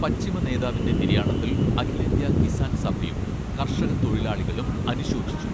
പശ്ചിമ നേതാവിന്റെ നിര്യാണത്തിൽ അഖിലേന്ത്യാ കിസാൻ സഭയും കർഷകത്തൊഴിലാളികളും അനുശോചിച്ചു